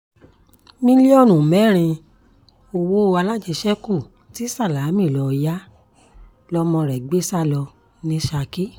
mílíọ̀nù mẹ́rin owó alájẹṣẹ́kù tí sálámí lọ̀ọ́ yá lọmọ rẹ̀ gbé sá lọ ní ṣákì